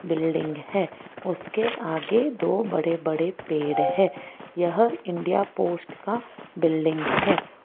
Building है उसके आगे दो बड़े बड़े पेड़ हैं यह इंडिया पोस्ट का बिल्डिंग है।